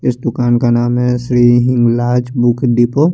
इस दूकान का नाम है श्री हिंगलाज बुक डिपो --